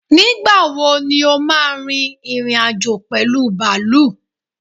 Nígbàwo ní o ma rin ìrìn-àjò pẹ̀lú bàálù?